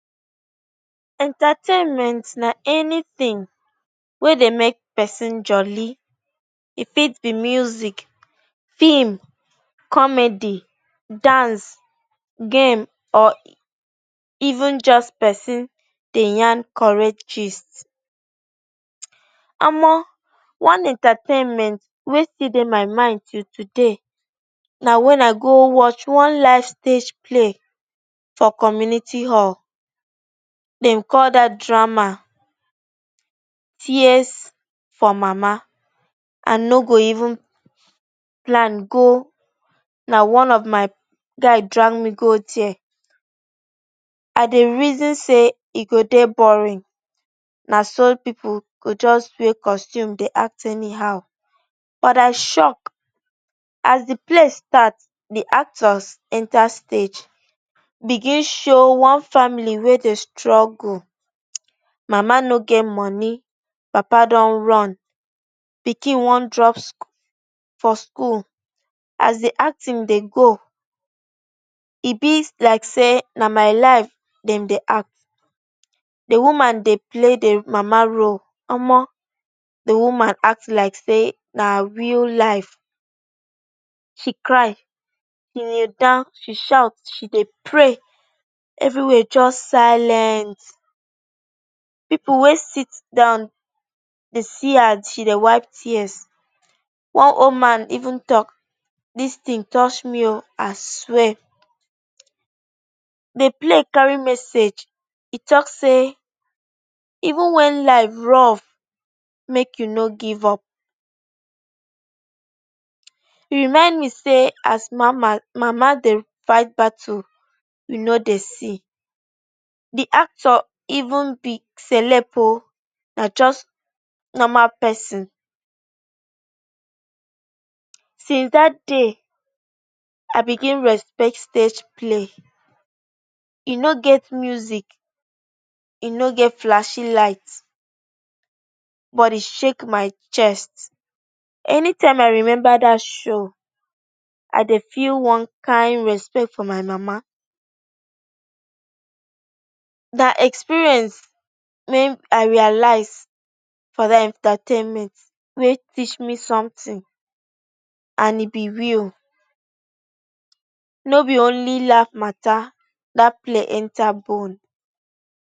Entertainment na anytin wey dey mek pesin jolly. E fit be music, film, comedy, dance, game or even just pesin dey yarn correct gist. Omo! One entertainment wey still dey my mind till today, na when I go watch one live stage play for community hall. Dem call dat drama ‘tears for mama’ I no go even plan go, na one of my guy drag me go there. I dey reason say e go dey boring. Na so pipu go just wear costume dey act anyhow, but I shock, as de play start, de actors enter stage begin show one family wey dey struggle. Mama no get money, papa don run. Pikin wan drop sch…for school. As de acting dey go, e be like say na my life dem dey act. De woman dey play de mama role, omo! De woman act like say na real life, she cry, kneel down, she shout, she dey pray, everywhere just silent. Pipu wey sit down dey see as she dey wipe tears. One old man even talk ‘dis tin touch me o, I swear’ De play carry message, e talk say even when life rough, mek you no give up. E remind me say as mama, mama dey fight battle we no dey see. De actor even be celeb na just normal pesin. Since dat day, I begin respect stage play. E no get music, e no get flash light, but e shake my chest. Anytime I remember dat show, I dey feel one kind respect for my mama. Na experience wey I realize from dat entertainment wey teach me sometin and e be real, no be only life mata, dat play enter bone.